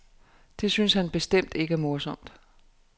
Det synes han bestemt ikke er morsomt.